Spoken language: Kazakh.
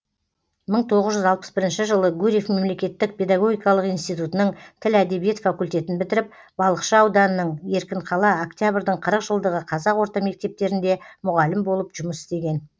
мың тоғыз жүз алпыс бірінші жылы гурьев мемлекеттік педагогикалық институтының тіл әдебиет факультетін бітіріп балықшы ауданының еркінқала октябрьдің қырық жылдығы қазақ орта мектептерінде мұғалім болып жұмыс істеген